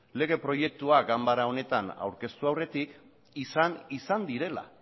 lege proiektua ganbara honetan aurkeztu aurretik izan izan direla